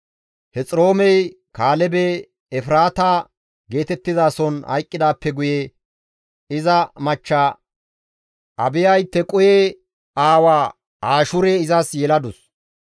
Hexiroomey Kaalebe Efraata geetettizason hayqqidaappe guye iza machcha Abiyay Tequhe aawa Ashihuure izas yeladus.